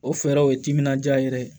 O fɛɛrɛ o ye timinandiya yɛrɛ ye